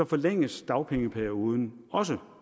forlænges dagpengeperioden også